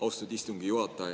Austatud istungi juhataja!